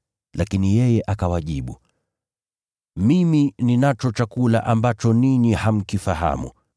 Lakini yeye akawajibu, “Mimi ninacho chakula ambacho ninyi hamkifahamu.”